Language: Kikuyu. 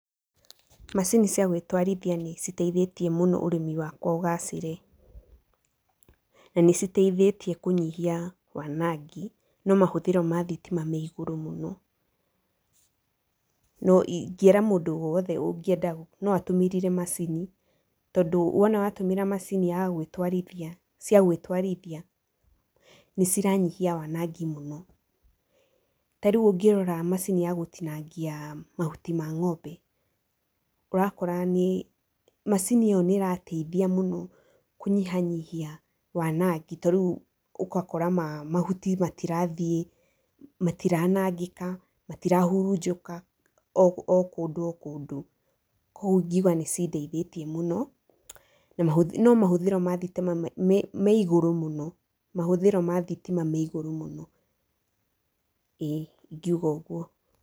Macini ciagwĩtwarithia nĩcitaithĩtie mũno ũrĩmi wakwa ũgacĩre, na nĩcitaithĩtie kũnyihia wanangi, no mahũthĩro ma thitima me igũrũ mũno, no ingĩra mũndũ wothe angĩenda no atũmĩrire macini, tondũ wona watumĩra macini yagwĩtwarithia, ciagwĩtwarithia, nĩciranyihia wanangi mũno. Ta rĩu ũngĩrora macini ya gũtinangia mahuti ma ng'ombe, ũrakora nĩ macini ĩyo nĩ ĩrataithia mũno kũnyihanyihia wanangi, ta rĩu ũgakora mahuti matirathiĩ, matiranangĩka, matirahurunjũka o kũndũ o kũndũ, koguo ingiuga nĩcindeithĩtie mũno, no mahũthĩro ma thitima me igũrũ mũno, mahũthĩro ma thitima me igũrũ mũno, ĩĩ, ingiuga ũguo.